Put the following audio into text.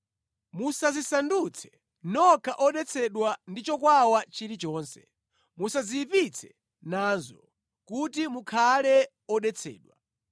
Musadzisandutse nokha odetsedwa ndi chokwawa chilichonse. Musadziyipitse nazo, kuti mukhale odetsedwa.